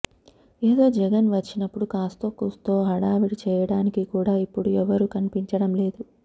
ఏదో జగన్ వచ్చినప్పుడు కాస్తో కూస్తో హడావిడి చేయడానికి కూడా ఇప్పుడు ఎవరూ కనిపించడం లేదు